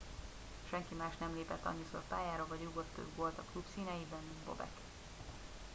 senki más nem lépett annyiszor pályára vagy rúgott több gólt a klub színeiben mint bobek